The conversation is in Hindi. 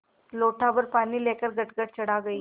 लोटाभर पानी लेकर गटगट चढ़ा गई